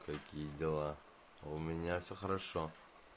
какие дела у меня все хорошо